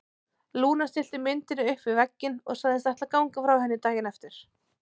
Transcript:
Lúna stillti myndinni upp við vegginn og sagðist ætla að ganga frá henni daginn eftir.